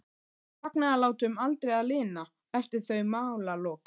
Ætlaði fagnaðarlátum aldrei að linna eftir þau málalok.